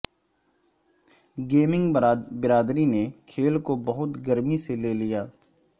gaming برادری نے کھیل کو بہت گرمی سے لے لیا